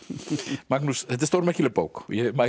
Magnús þetta er stórmerkileg bók og ég mæli